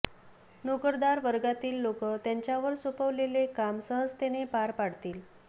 नोकरदार वर्गातील लोकं त्यांच्यावर सोपवलेले काम सहजतेने पार पाडतील